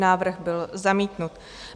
Návrh byl zamítnut.